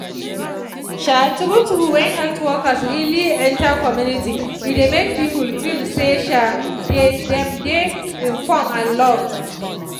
um true true when health workers really enter community e dey make people feel say um dey dem dey informe and love